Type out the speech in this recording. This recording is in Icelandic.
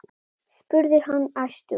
spurði hann æstur.